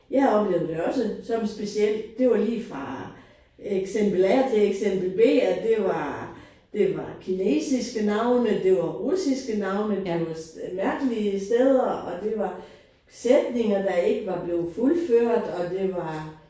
Jeg oplevede det også som specielt. Det var lige fra eksempel A og til eksempel B det var det var kinesiske navne det var russiske navne det var mærkelige steder og det var sætninger de rikke var blevet fuldført og det var